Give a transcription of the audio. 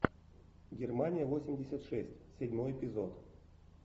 германия восемьдесят шесть седьмой эпизод